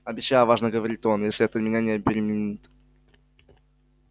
обещаю важно говорит он если это меня не обеременит